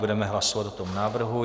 Budeme hlasovat o tom návrhu.